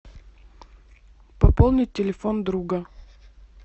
пополнить телефон друга